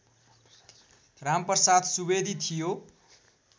रामप्रसाद सुवेदी थियो